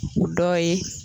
U dɔw ye